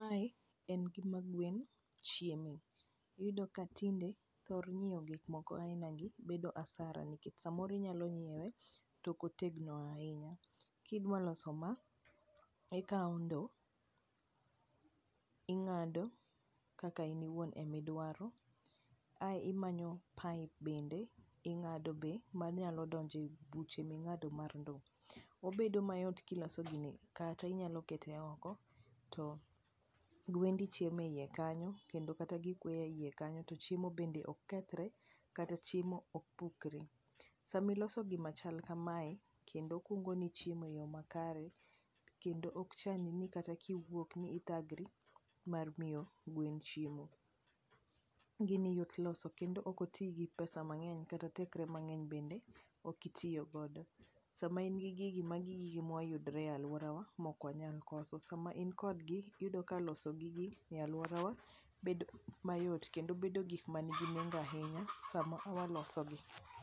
mae en gima gwen chieme iyudo ka tinde thor nyiewo gik moko aina gi bedo hasara nikech samoro inyalo nyiewe tok otegno ahinya, kidwa loso ma ikawo ndo ing'ado kaka in iwuon ema iduara ae imanyo pipe bende ing'ado be manyalo donjo e buche ming'ado mar ndo, obedo mayot kiloso gini kata inyalo kete oko to gwendi chiemo e iye kanyo kendo kata gi gweye iya kanyo to chiemo bende ok kethre kata chiemo bende ok pukre, sama iloso gima chal kamae kendo kungo ni chiemo e yo makare kendo ok chandi ni kata kiwuok ni ithagri mar miyo gwen chiemo, gini yot loso kendo ok oti gi pesa mang'eny kata tekre mang'eny bende ok itiyo godo ,sama in gi gigi magi gige mayudore e aluorawa ma ok wanyal koso ,sama in kod gi loso gigi e aluorawa bedo mayot kendo bedo gik man gi nengo ahinya sama waloso gi.